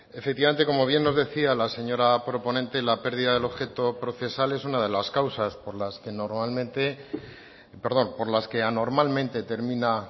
efectivamente como bien nos decía la señora proponente la pérdida del objeto procesal es una de las causas por las que normalmente perdón por las que anormalmente termina